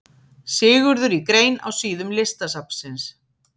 Sigurður í grein á síðum Listasafnsins.